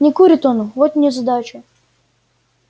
не курит он вот незадача